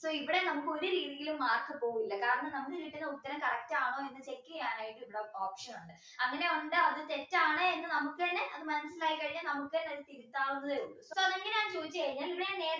so ഇവിടെ നമുക്ക് ഒരു രീതിയിലും mark പോകില്ല കാരണം നമുക്ക് കിട്ടുന്ന ഉത്തരം correct ആണോന്ന് check ചെയ്യാനായിട്ട് ഉള്ള option ഉണ്ട് അങ്ങനെ ഉണ്ട് അത് തെറ്റാണ് എന്ന് നമുക്ക് തന്നെ അത് മനസിലായി കഴിഞ്ഞാൽ നമുക്ക് തന്നെ ഒരു തിരുത്താവുന്നതേ ഉള്ളു അപ്പൊ അത് എങ്ങനെയാ എന്ന ചോയ്ച് കഴിഞ്ഞാൽ ഇവിടെ ഞാൻ നേരത്തെ